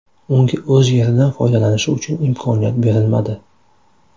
Unga o‘z yeridan foydalanishi uchun imkoniyat berilmadi?